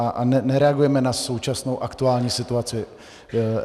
A nereagujeme na současnou aktuální situaci.